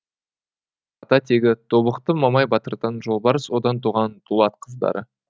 ата тегі тобықты мамай батырдан жолбарыс одан туған дулат қыздары